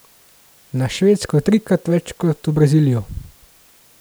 Na Švedsko trikrat več kot v Brazilijo.